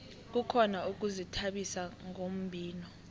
kukhona ukuzithabisa ngombhino